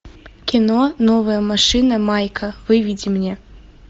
кино новая машина майка выведи мне